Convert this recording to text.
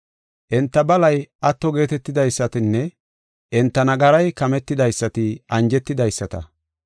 “Enta balay atto geetetidaysatinne enta nagaray kametidaysati anjetidaysata.